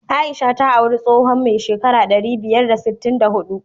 Aisha ta aure tsohon mai shekara ɗari biyar da sittin da huɗu.